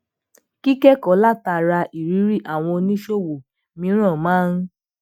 kíkékòó látara ìrírí àwọn oníṣòwò mìíràn maa ń